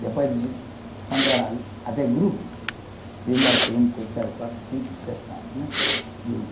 Depois de, quando era até grupo, primeiro, segundo, terceiro, quarto, quinto, sexto ano, né? Grupo